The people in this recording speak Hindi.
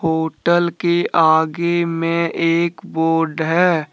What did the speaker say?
होटल के आगे में एक बोर्ड है।